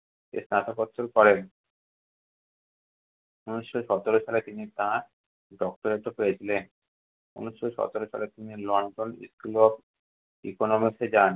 স্নাতকোত্ত্বর করেন। উনিশশো সতেরো সালে তিনি তার doctorate ও পেয়েছিলেন। উনিশশো সতেরো সালে তিনি লন্ডন school of economics এ যান।